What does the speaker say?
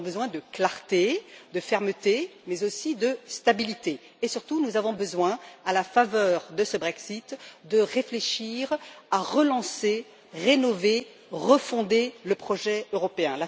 Nous avons besoin de clarté, de fermeté, mais aussi de stabilité et, surtout, nous avons besoin, à la faveur de ce Brexit, de réfléchir à relancer, à rénover et à refonder le projet européen.